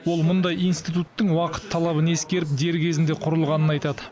ол мұндай институттың уақыт талабын ескеріп дер кезінде құрылғанын айтады